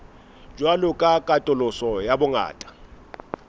jwalo ka katoloso ya bongata